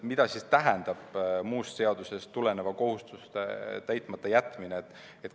Mida tähendab muust seadusest tuleneva kohustuse täitmata jätmine?